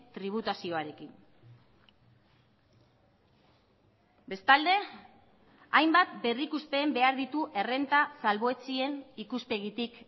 tributazioarekin bestalde hainbat berrikusten behar ditu errenta salbuetsien ikuspegitik